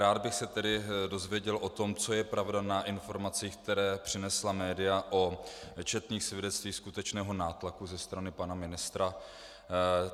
Rád bych se tedy dověděl o tom, co je pravda na informacích, které přinesla média, o četných svědectvích skutečného nátlaku ze strany pana ministra.